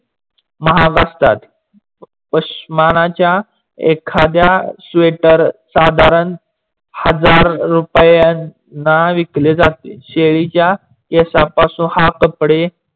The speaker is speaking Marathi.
महाग असतात. पाशमणा च्या एखाद्या sweater साधारण हजार रुपयांना विकले जाते. शेळी च्या केसापासून हा कपडे